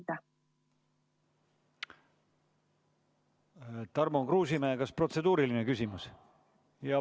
Tarmo Kruusimäe, kas protseduuriline küsimus?